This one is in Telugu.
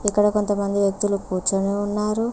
ఇక్కడ కొంతమంది వ్యక్తులు కూర్చుని ఉన్నారు.